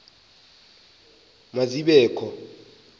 ma zibe kho